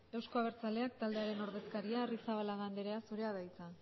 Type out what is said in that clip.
eusko abertzaleak taldearen ordezkaria arrizabalaga anderea zurea da hitza